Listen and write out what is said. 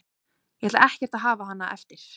Ég ætla ekkert að hafa hana eftir.